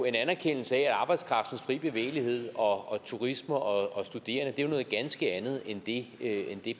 en anerkendelse af at arbejdskraftens fri bevægelighed og turisme og studerende er noget ganske andet end det